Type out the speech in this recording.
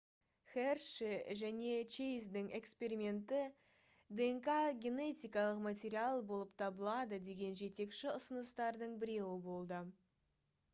херши және чейздің эксперименті днқ генетикалық материал болып табылады деген жетекші ұсыныстардың біреуі болды